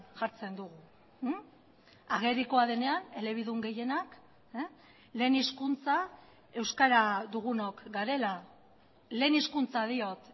jartzen dugu agerikoa denean elebidun gehienak lehen hizkuntza euskara dugunok garela lehen hizkuntza diot